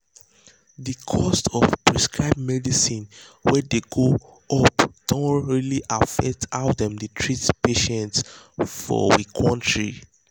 the cost of prescribed medicine wey dey go up don really affect how dem dey treat patients for we kontry.